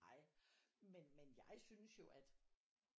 Ej men men jeg synes jo at